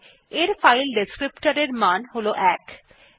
এর ফাইল বর্ণনাকারীর মান ১